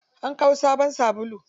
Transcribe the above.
An kawo sabon sabulu.